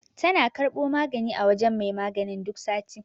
Tana karɓo magani a wajen mai maganin duk sati.